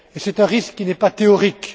C'est un risque qui n'est pas théorique.